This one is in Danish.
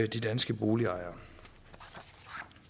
de danske boligejere